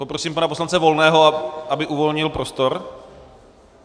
Prosím pana poslance Volného, aby uvolnil prostor.